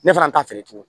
Ne fana t'a feere tuguni